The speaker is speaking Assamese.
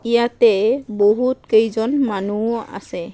ইয়াতে বহুত কেইজন মানুহো আছে।